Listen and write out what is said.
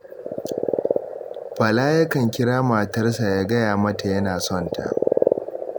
Bala yakan kira matarsa ya gaya mata yana son ta